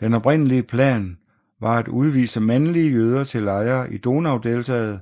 Den oprindelige plan var at udvise mandlige jøder til lejre i Donaudeltaet